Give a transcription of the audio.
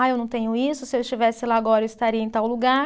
Ah, eu não tenho isso, se eu estivesse lá agora eu estaria em tal lugar.